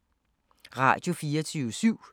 Radio24syv